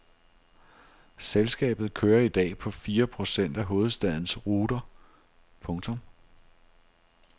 Selskabet kører i dag på fire procent af hovedstadens ruter. punktum